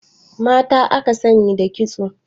Mata aka sani da kitso.